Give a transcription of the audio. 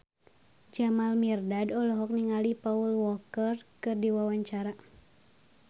Jamal Mirdad olohok ningali Paul Walker keur diwawancara